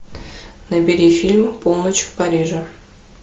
набери фильм полночь в париже